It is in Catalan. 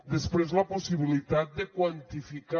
després la possibilitat de quantificar